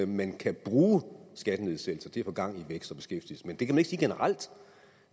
man kan bruge skattenedsættelser til at få gang i vækst og beskæftigelse men det kan ikke siges generelt